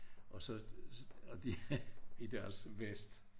Og så og de i deres vest